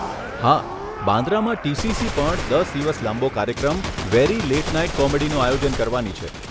હા, બાન્દ્રામાં ટીસીસી પણ, દસ દિવસ લાંબો કાર્યક્રમ એવો 'વેરી લેટ નાઈટ કોમેડી' નું આયોજન કરવાની છે.